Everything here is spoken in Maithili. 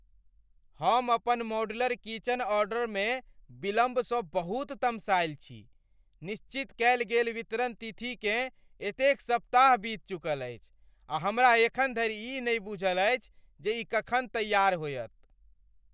हम अपन मॉड्यूलर किचन ऑर्डरमे विलम्बसँ बहुत तमसायल छी। निश्चित कयल गेल वितरण तिथिकेँ एतेक सप्ताह बीत चुकल अछि, आ हमरा एखन धरि ई नहि बूझल अछि जे ई कखन तैयार होयत।